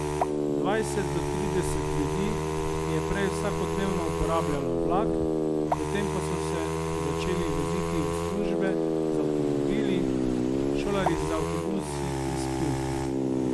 Dvajset do trideset ljudi je prej vsakodnevno uporabljalo vlak, potem pa so se začeli voziti v službe z avtomobili, šolarji z avtobusi iz Pivke.